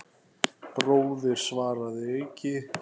Bróðir, svaraði Eiki.